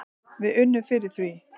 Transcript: Við unnum fyrir því.